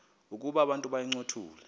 ukuba abantu bayincothule